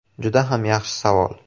“Juda ham yaxshi savol!